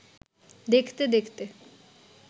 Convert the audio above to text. দেখতে দেখতে